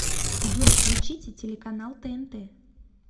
джой включите телеканал тнт